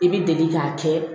I bɛ deli k'a kɛ